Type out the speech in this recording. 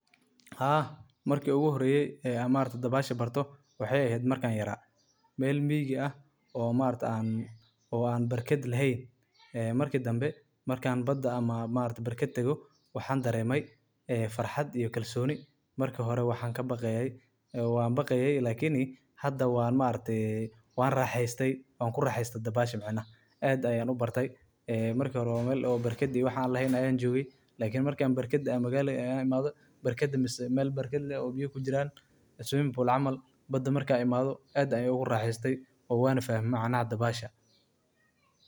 Barkadda dabaasha waa meel aad u qurux badan oo loogu talagalay in lagu nasto laguna raaxeysto, gaar ahaan maalmaha kulaylaha marka qorraxdu si xoog leh u dhacdo. Dadka ayaa ku kulma barkadda si ay u qaboojiyaan jirka, una helaan jimicsi caafimaad leh oo kor u qaada caafimaadka wadnaha iyo murqaha. Barkadaha dabaasha waxaa lagu sameeyaa walxo adag oo biyaha ka ilaaliya inay ka baxaan.